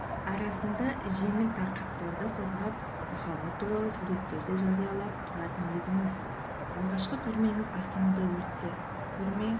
арасында жеңіл тақырыптарды қозғап махаббат туралы суреттер де жариялап тұратын едіңіз алғашқы көрмеңіз астанада өтті көрме